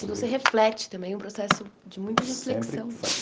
Se você reflete também, é um processo de muita reflexão.